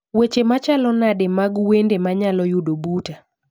Weche machalo made mag wende manyalo yudo buta